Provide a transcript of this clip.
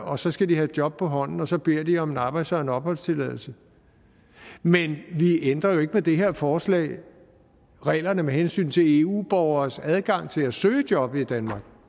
og så skal de have et job på hånden og så beder de om en arbejds og en opholdstilladelse men vi ændrer jo ikke med det her forslag reglerne med hensyn til eu borgeres adgang til at søge job i danmark